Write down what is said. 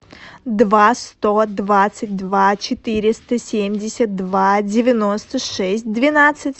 два сто двадцать два четыреста семьдесят два девяносто шесть двенадцать